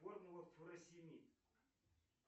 формула фуросемид